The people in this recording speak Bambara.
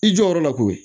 I jɔ yɔrɔ la koyi